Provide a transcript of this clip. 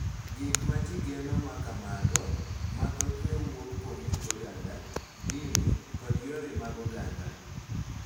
Gik ma ji geno ma kamago, ma thothne wuok kuom kit oganda, dini, kod yore mag oganda,